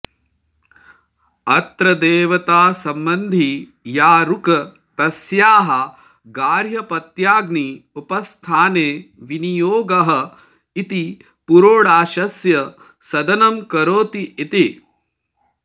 अत्र देवतासम्बन्धी या ऋक् तस्याः गार्हपत्याग्नि उपस्थाने विनियोगः इति पुरोडाशस्य सदनं करोति इति